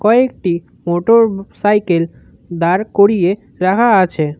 একটি মোটরসাইকেল দাঁড় করিয়ে রাখা আছে।